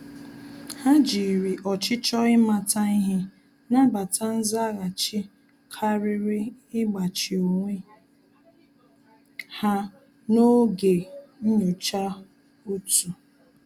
Há jìrì ọ́chịchọ̀ ị́màta ihe nàbàtá nzaghachi kàrị́rị́ ígbàchí onwe ha n’ógè nyocha òtù.